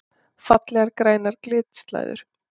Fallegar grænar glitslæður!